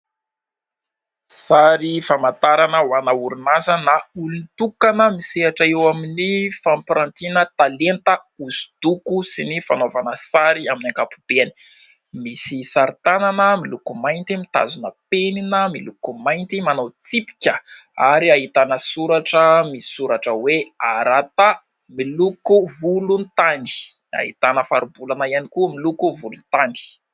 Sary famantarana ho an' ny orinasa na olon-tokana misehatra eo amin'ny fampirantiana talenta hosodoko sy ny fanaovana sary amin'ny ankapobeny. Misy sarin-tanana miloko mainty, mitazona penina miloko mainty, manao tsipika. Ary ahitana soratra misoratra hoe : Varatava miloko volontany ; ahitana faribolana ihany koa miloko volontany.